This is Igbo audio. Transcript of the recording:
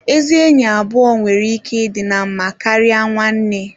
Ezi enyi abụọ nwere ike ịdị na mma karịa nwanne